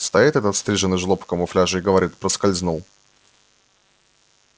стоит этот стриженый жлоб в камуфляже и говорит проскользнул